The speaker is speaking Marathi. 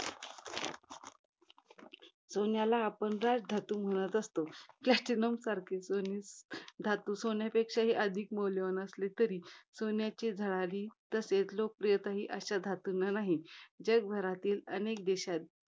सोन्याला आपण राजधातू म्हणत असतो. Platinum सारखे कोणी धातू सोन्यापेक्षा अधिक मौल्यवान असले तरी, सोन्याची झळाळी, तसेच लोकप्रियता अशा धातूंना नाही. जगभरातील अनेक देशांत